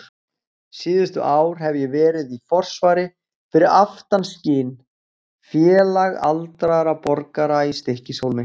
Síðustu ár hef ég verið í forsvari fyrir Aftanskin, félag aldraðra borgara í Stykkishólmi.